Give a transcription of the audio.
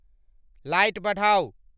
light बढ़ाऊं